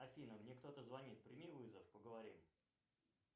афина мне кто то звонит прими вызов поговорим